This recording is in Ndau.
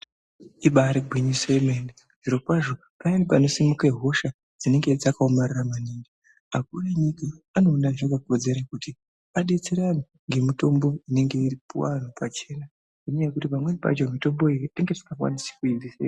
Ibari gwinyiso yemene zvirokwazvo payani panosimuka hosha dzinenge dzakaomarara maningi akuru enyika anoona zvakakodzera kuti adetserane ngemitombo inenge yeipuwa antu pachena, ngendaya yekuti pamweni pacho mitomboyo inenge isingakwanise kuitenga.